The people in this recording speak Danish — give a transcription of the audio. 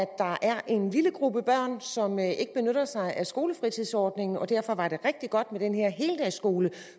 der er en lille gruppe børn som ikke benytter sig af skolefritidsordningen derfor var det rigtig godt med den her heldagsskole